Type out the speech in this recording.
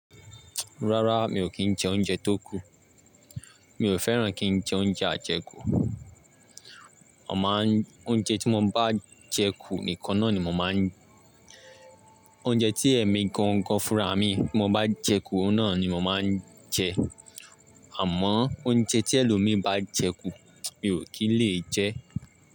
Rárá mi ò kí ń jẹ oúnjẹ tó kù. Mi ò fẹ́ràn kí ń jẹ oúnjẹ àjẹkù. Ọ̀ máa ń, oúnjẹ tí mo bá jẹ kù nìkan náà ni mo máa ń, oúnjẹ tí ẹ̀mi gan-an fúnra mi mo bá jẹ kù, ó náà ni mo máa ń jẹ. Àmọ́ oúnjẹ tí ẹlòmíí bá jẹ kù, mi ò kí lè jẹ.